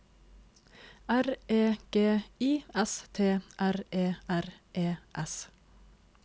R E G I S T R E R E S